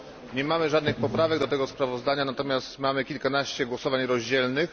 Nie mamy żadnych poprawek do tego sprawozdania, natomiast mamy kilkanaście głosowań podzielonych.